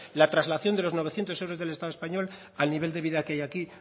la traslación de los novecientos euros del estado español al nivel de vida que hay aquí